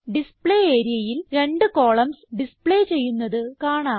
display areaയിൽ രണ്ട് columns display ചെയ്യുന്നത് കാണാം